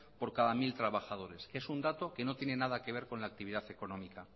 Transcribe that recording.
por cada mil trabajadores que es un dato que no tiene nada que ver con la actividad económica